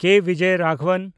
ᱠᱮ. Bijoy Raghavan